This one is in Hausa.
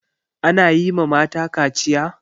Ana yi ma mata kaciya?